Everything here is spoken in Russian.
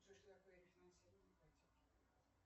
что такое рефинансирование ипотеки